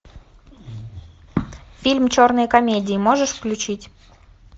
фильм черные комедии можешь включить